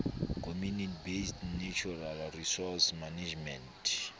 community based natural resource management